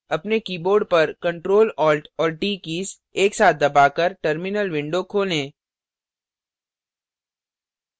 अपने keyboard पर ctrl alt और t कीज एक साथ दबाकर terminal window खोलें